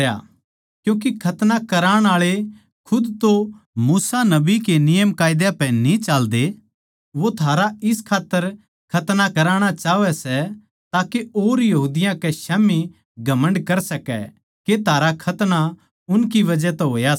क्यूँके खतना कराण आळे खुद तो मूसा नबी के नियमकायदा पे न्ही चाल्दे यहूदी कै स्याम्ही घमण्ड कर सका के थारा खतना उनकी बजह तै होया सै